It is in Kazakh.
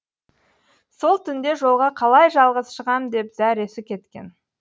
сол түнде жолға қалай жалғыз шығам деп зәресі кеткен